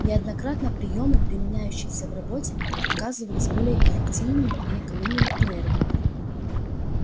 неоднократно приёмы применявшиеся в работе оказывались более эффективными и экономили энергию